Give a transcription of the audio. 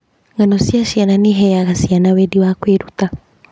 Ng'ano cia ciana nĩ iheaga ciana wendi wa kwĩruta.